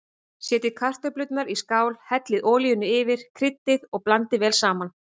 Setjið kartöflurnar í skál, hellið olíunni yfir, kryddið og blandið vel saman.